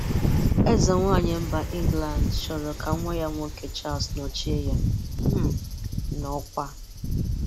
Ezenwàanyị mba England chọrọ ka nwa ya nwoke Charles nọchie ya um n'ọkwa.